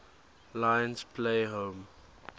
lions play home